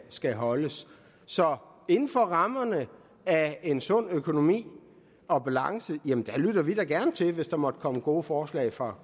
skal holdes så inden for rammerne af en sund økonomi og balance lytter vi da gerne til det hvis der måtte komme gode forslag fra